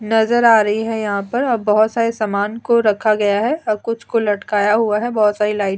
नजर आ रही है यहाँ पर। अ बोहोत सारे सामन को रखा गया हैं। अ कुछ को लटकाया हुआ हैं। बोहोत सारी लाइट --